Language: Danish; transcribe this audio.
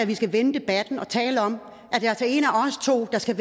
vi skal vende debatten og tale om af os to der skal